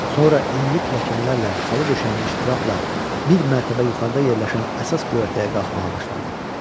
Sonra enli pilləkənlərlə xalça döşənmiş trapla bir mərtəbə yuxarısında yerləşən əsas göyərtəyə qalxmağa başladı.